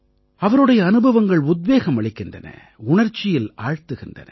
அவருடைய அனுபவங்கள் உத்வேகம் அளிக்கின்றன உணர்ச்சியில் ஆழ்த்துகின்றன